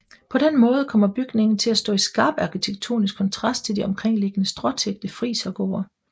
På den måde kommer bygningen til at stå i skarp arkitektonisk kontrast til de omkringliggende stråtækte frisergårde